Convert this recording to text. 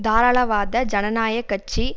தாராளவாத ஜனநாயக கட்சி